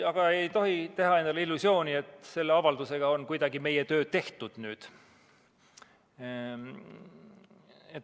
Aga me ei tohi teha endale illusiooni, et selle avaldusega on meie töö nüüd tehtud.